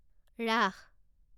ৰাস